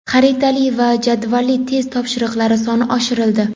xaritali va jadvalli test topshiriqlari soni oshirildi.